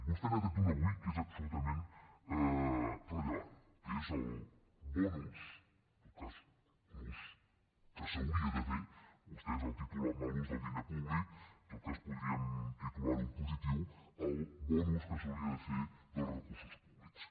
vostè n’ha tret un avui que és absolutament rellevant que és el bon ús en tot cas un ús que s’hauria de fer vostès el titulen mal ús del diner públic en tot cas podríem titular ho en positiu que s’hauria de fer dels recursos públics